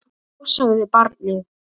Já, sagði barnið.